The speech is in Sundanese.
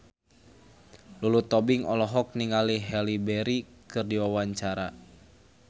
Lulu Tobing olohok ningali Halle Berry keur diwawancara